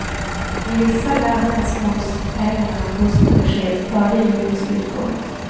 I vissa län kan småhusägarna få sina besked före junis utgång.